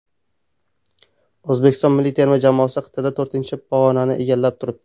O‘zbekiston milliy terma jamoasi qit’ada to‘rtinchi pog‘onani egallab turibdi.